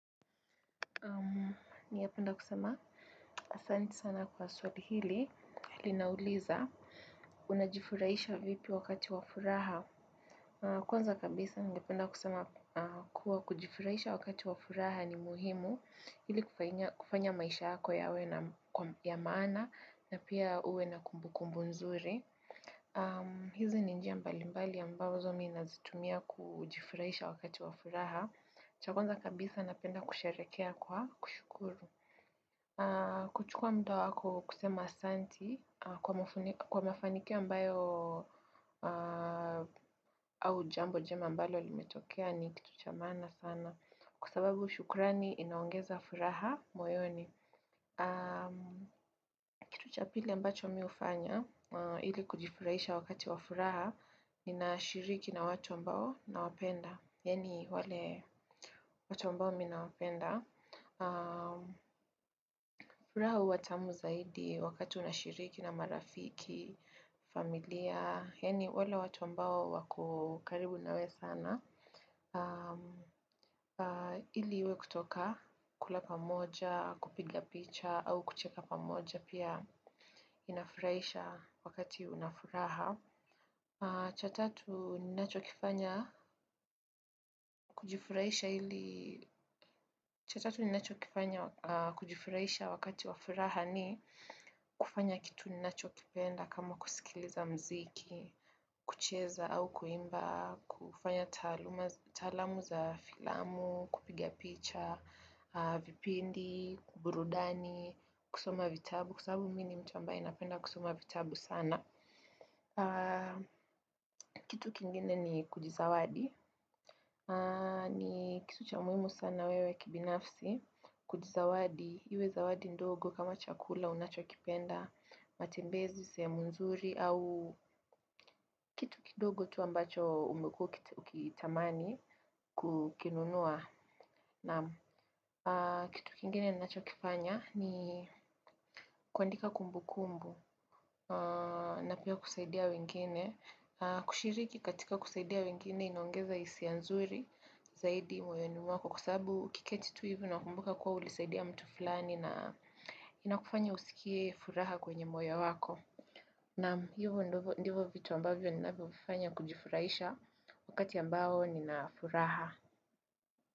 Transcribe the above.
Ningependa kusema, asanti sana kwa swali hili, linauliza, unajifurahisha vipi wakati wa furaha. Kwanza kabisa ningependa kusema kuwa kujifurahisha wakati wa furaha ni muhimu ili kufanya maisha yako yawe ya maana na pia uwe na kumbu kumbu nzuri. Hizi ni njia mbali mbali ambazo mimi nazitumia kujifurahisha wakati wa furaha. Cha kwaza kabisa napenda kusherehekea kwa kushukuru kuchukua muda wako kusema asanti kwa mafanikio ambayo au jambo jema ambalo limetokea ni kitu cha maana sana kwa sababu shukurani inaongeza furaha moyoni Kitu cha pili ambacho mimi hufanya ili kujifurahisha wakati wa furaha. Ninashiriki na watu ambao nawapenda yaani wale watu ambao mimi nawapenda. Furaha huwa tamu zaidi wakati unashiriki na marafiki, familia. Yaani wale watu ambao wako karibu nawe sana. Ili iwe kutoka, kula pamoja, kupiga picha, au kucheka pamoja. Pia inafurahisha wakati una furaha. Cha tatu ninacho kifanya kujifurahisha ili. Cha tatu ninachokifanya kujifurahisha wakati wa furaha ni kufanya kitu ninachokipenda kama kusikiliza mziki, kucheza au kuimba, kufanya taalamu za filamu, kupiga picha, vipindi, burudani, kusoma vitabu, kwa sababu mimi ni mtu ambaye napenda kusoma vitabu sana. Kitu kingine ni kujizawadi, ni kitu cha muhimu sana wewe kibinafsi, kujizawadi, iwe zawadi ndogo kama chakula unachokipenda matembezi, sehemu nzuri, au kitu kidogo tu ambacho umekuwa ukitamani kukinunua. Naam kitu kingine ninacho kifanya ni kuandika kumbu kumbu na pia kusaidia wengine. Kushiriki katika kusaidia wengine inaongeza hisia nzuri zaidi moyoni mwako kwa sababu ukiketi tu hivu unakumbuka kuwa ulisaidia mtu fulani na inakufanya usikie furaha kwenye moyo wako. Naam hivo ndivo vitu ambavyo ninavyovifanya kujifurahisha wakati ambao nina furaha.